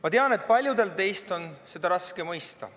Ma tean, et paljudel teist on seda raske mõista.